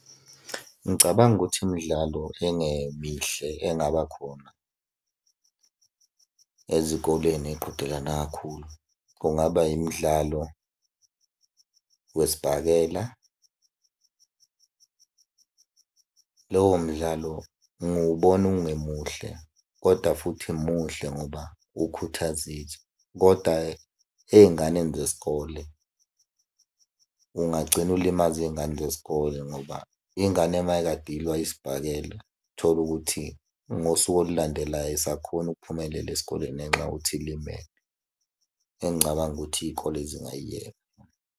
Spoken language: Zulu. Ngicabanga ukuthi imidlalo engemihle engaba khona ezikoleni eqhudelana kakhulu, kungaba imidlalo wesibhakela. Lowo mdlalo ngiwubona ungemuhle koda futhi muhle ngoba ukhuthaza koda ey'nganeni zesikole, ungagcina ulimaza iy'ngane zesikole ngoba ingane uma kade ilwa isibhakela, uthole ukuthi ngosuku olulandelayo ayisakhoni ukuphumelela esikoleni ngenxa yokuthi ilimele. Engicabanga ukuthi iy'kole zingayiyeka.